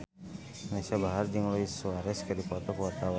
Anisa Bahar jeung Luis Suarez keur dipoto ku wartawan